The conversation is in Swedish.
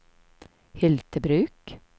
Hyltebruk